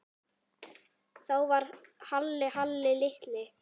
Þá var Halli Halli litli.